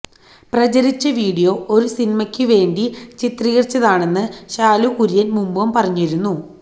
പ്രചരിച്ച video ഒരു സിനിമയ്ക്ക് വേണ്ടി ചിത്രീകരിച്ചതാണെന്ന് ശാലു കുര്യൻ മുൻപും പറഞ്ഞിരുന്നു